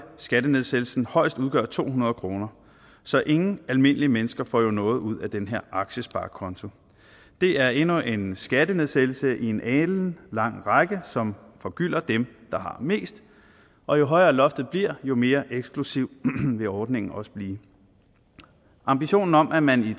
skattenedsættelsen højst udgøre to hundrede kroner så ingen almindelige mennesker får jo noget ud af den her aktiesparekonto det er endnu en skattenedsættelse i en alenlang række som forgylder dem der har mest og jo højere loftet bliver jo mere eksklusiv vil ordningen også blive ambitionen om at man i